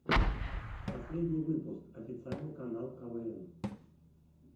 последний выпуск официальный канал квн